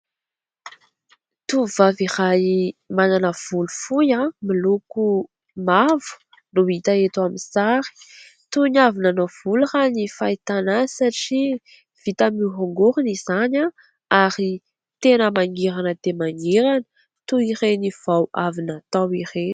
Tovovavy iray manana volo fohy miloko mavo no hita eto amin'ny sary. Toy ny avy nanao volo raha ny fahitana azy satria vitany miorongorona izany ary tena mangirana dia mangirana toy ireny vao avy natao ireny.